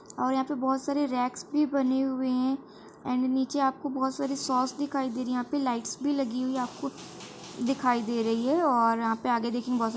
और यहाँ पे बहुत सारे रैक्स भी बने हुए हैं। एंड नीचे आपको बहुत सारे सॉस दिखाई दे रही है और यहाँ पे लाइट्स भी लगी हुई है। आपको दिखाई दे रही है और यहाँ पे आगे देखिये बहुत सा --